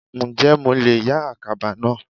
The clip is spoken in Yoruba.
Ǹjẹ́ mo leè yá àkàbà náà